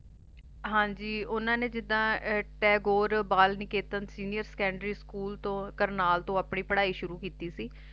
ਹਾਂਜੀ ਓਹਨਾ ਨੇ ਜਿੱਦਾ Tagore Bal Niketan Senior Secondary School ਤੋਂ ਕਰਨਲ ਤੋਂ ਆਪਣੀ ਪੜਾਈ ਸ਼ੁਰੂ ਕੀਤੀ ਸੀ